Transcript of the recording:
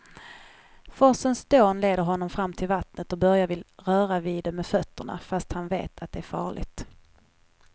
Forsens dån leder honom fram till vattnet och Börje vill röra vid det med fötterna, fast han vet att det är farligt.